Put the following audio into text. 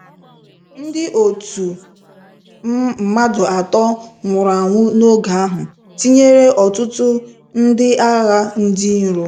Ndị otu m mmadụ atọ nwụrụ anwụ na-ogu ahụ, tinyere ọtụtụ ndị agha ndị iro.